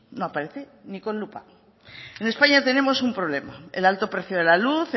no aparece ni con lupa en españa tenemos un problema el alto precio de la luz